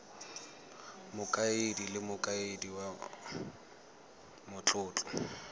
mokaedi le mokaedi wa matlotlo